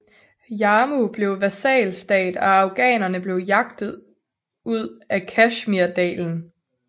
Jammu blev vasalstat og afghanerne blev jaget ud af Kashmirdalen